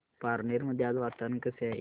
पारनेर मध्ये आज वातावरण कसे आहे